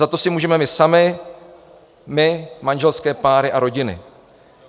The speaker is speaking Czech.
Za to si můžeme my sami, my, manželské páry a rodiny.